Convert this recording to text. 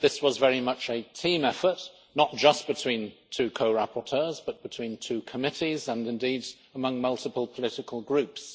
This was very much a team effort, not just between two co rapporteurs but between two committees and indeed among multiple political groups.